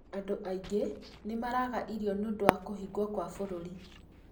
andũ aingĩ nĩ maraga irio nĩ ũndũ wa kũhingwo kwa bũrũri